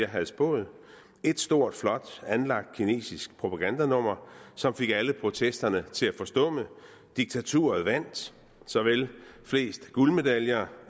havde spået ét stort flot anlagt kinesisk propagandanummer som fik alle protesterne til at forstumme diktaturet vandt såvel de fleste guldmedaljer